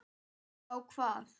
Já, hvað?